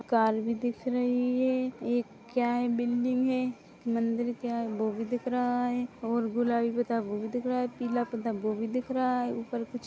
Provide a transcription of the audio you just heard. car भी दिख रही है एक क्या है बिल्डिंग है मंदिर क्या है वो भी दिख रहा है और गुलाबी पता वों भी दिख रहा है पीला पता वों भी दिख रहा है ऊपर कुछ--